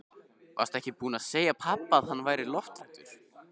Varstu ekki búin að segja pabba að hann væri lofthræddur?